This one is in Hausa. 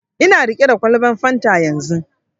Ina riƙe da kwalban fanta yanzu